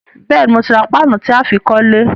Béèni, mo ti ra paanu tí á fi kólé